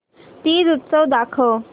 तीज उत्सव दाखव